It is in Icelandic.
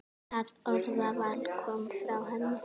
Það orðaval kom frá henni.